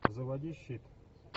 заводи щит